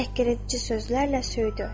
Təhqiredici sözlərlə söydü.